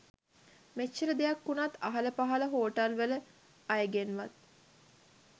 මෙච්චර දෙයක් වුණත් අහල පහළ හෝටල්වල අයගෙන්වත්